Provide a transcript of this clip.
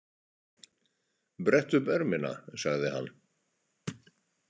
Brettu upp ermina, sagði hann.